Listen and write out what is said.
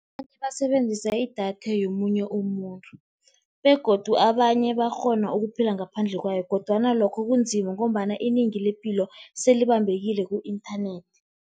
Abanye basebenzisa idatha yomunye umuntu begodu abanye bayakghona ukuphila ngaphandle kwayo, kodwana lokho kunzima, ngombana inengi lepilo selibambekile ku-inthanethi.